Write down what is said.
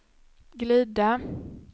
glida